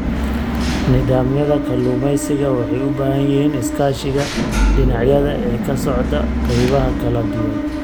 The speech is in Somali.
Nidaamyada kalluumeysiga waxay u baahan yihiin iskaashiga dhinacyada ee ka socda qaybaha kala duwan.